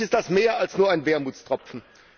Für mich ist dies mehr als nur ein Wermutstropfen.